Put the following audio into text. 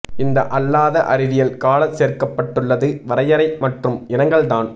இந்த அல்லாத அறிவியல் கால சேர்க்கப்பட்டுள்ளது வரையறை மற்றும் இனங்கள் தான்